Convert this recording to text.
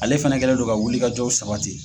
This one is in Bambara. Ale fana kɛlen do ka wuli kajɔw sabati.